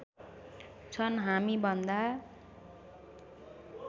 छन् हामीभन्दा